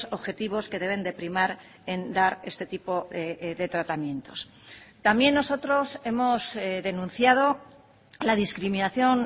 objetivos que deben de primar en dar este tipo de tratamientos también nosotros hemos denunciado la discriminación